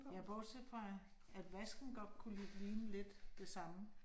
Ja bortset fra, at vasken godt kunne ligne lidt det samme